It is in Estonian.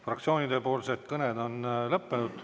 Fraktsioonide kõned on lõppenud.